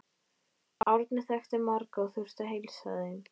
Árni þekkti marga og þurfti að heilsa þeim.